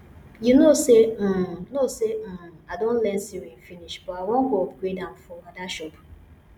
you know say um know say um i don learn sewing finish but i wan go upgrade am for ada shop